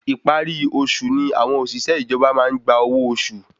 Ìparí oṣù ni àwọn òṣìṣẹ́ ìjọba maá n gba owó oṣù